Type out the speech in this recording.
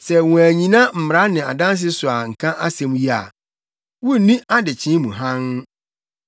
Sɛ wɔannyina mmara ne adanse yi so anka asɛm yi a, wunni adekyee mu hann.